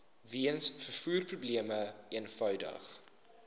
weens vervoerprobleme eenvoudig